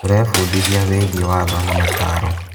Tũrebundithia wĩgiĩ watho na mataaro.